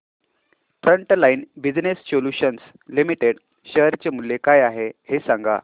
frontline business solutions limited share चे मूल्य काय आहे हे सांगा